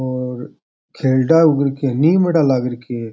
और खेलड़ा नीमडा लाग रखा है।